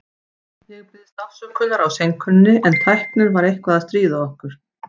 Ég biðst afsökunar á seinkuninni, en tæknin var eitthvað að stríða okkur.